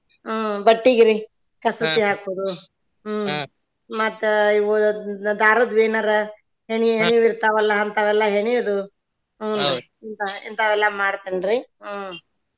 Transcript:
ಹ್ಮ್ ಬಟ್ಟಿಗ್ರಿ ಕಸೂತಿ ಹಾಕೋದು ಹ್ಮ್ ಮತ್ತ ಇವ್ ದಾರದ್ದು ಎನಾರ ಹೆಣಿ ಹೆಣಿವ್ ಇರ್ತಾವ ಅಲ್ಲಾ ಅಂತಾವ ಎಲ್ಲಾ ಹೆಣ್ಯುದು ಇಂತಾವ್ ಎಲ್ಲಾ ಮಾಡತೆನ್ರೀ.